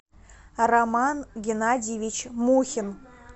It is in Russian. роман геннадьевич мухин